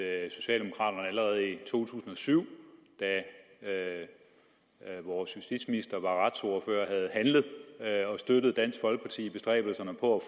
at socialdemokraterne allerede i to tusind og syv da da vores justitsminister var retsordfører havde handlet og støttet dansk folkeparti i bestræbelserne på